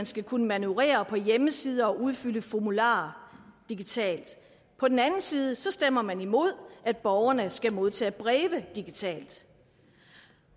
skal kunne manøvrere på hjemmesider og udfylde formularer digitalt på den anden side stemmer man imod at borgerne skal modtage breve digitalt